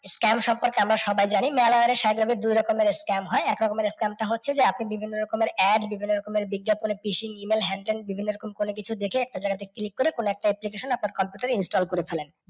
scam সম্পর্কে আমরা সবাই জানি। মেলায় সাধারনত দুই ধরণের scam হয়। এক রকমের scam টা হচ্ছে যে আপনি বিভিন্ন রকমের ad বিভিন্ন রকমের বিজ্ঞাপনে E mail হেন তেন বিভিন্ন রকম কোনও কিছু দেখে একটা জায়গাতে click করে কোনও একটা application আপনার computer এ install করে ফেলায়।